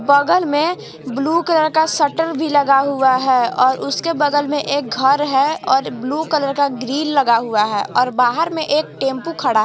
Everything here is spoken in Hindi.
बगल में ब्लू कलर का शटर भी लगा हुआ है और उसके बगल में एक घर है और ब्लू कलर का ग्रिल लगा हुआ है और बाहर में एक टेंपू खड़ा --